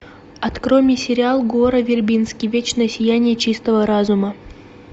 открой мне сериал гора вербински вечное сияние чистого разума